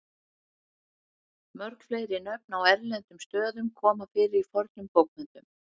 mörg fleiri nöfn á erlendum stöðum koma fyrir í fornum bókmenntum